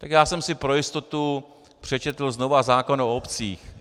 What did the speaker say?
Tak já jsem si pro jistotu přečetl znovu zákon o obcích.